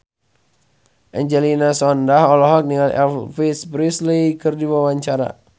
Angelina Sondakh olohok ningali Elvis Presley keur diwawancara